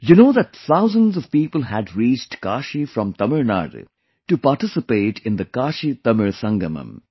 You know that thousands of people had reached Kashi from Tamil Nadu to participate in the KashiTamil Sangamam